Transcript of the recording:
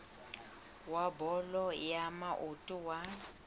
wa bolo ya maoto wa